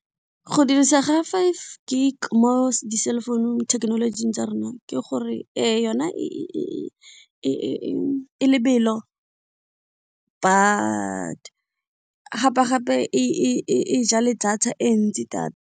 Go dirisa ga five gig mo di cell phone thekenolojing tsa rona ke gore yona e lebelo but gape e ja le data e ntsi data.